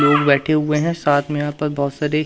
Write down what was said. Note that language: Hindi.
लोग बैठे हुए हैं साथ में यहां पर बहोत सारी--